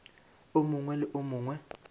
o mongwe le o mongwe